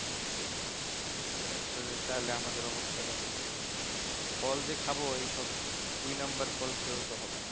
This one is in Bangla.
ইটা আসলে তাহলে আমাদের অবস্থা টা দেখো ফল যে খাবো এইসব দুই নম্বর ফল খেয়েও তো হবে না